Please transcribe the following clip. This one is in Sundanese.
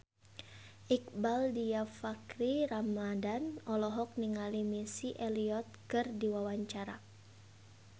Iqbaal Dhiafakhri Ramadhan olohok ningali Missy Elliott keur diwawancara